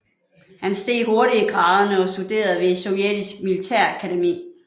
Han steg hurtigt i graderne og studerede ved et sovjetisk militærakademi